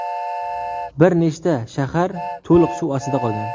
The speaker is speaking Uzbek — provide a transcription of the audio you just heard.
Bir nechta shahar to‘liq suv ostida qolgan.